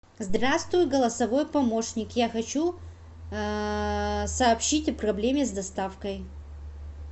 здравствуй голосовой помощник я хочу сообщить о проблеме с доставкой